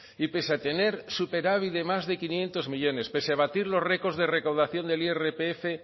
y pese a tener superávit de más de quinientos millónes pese a batir los récord de recaudación del irpf